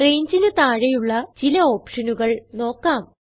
Rangeന് താഴെയുള്ള ചില ഓപ്ഷനുകൾ നോക്കാം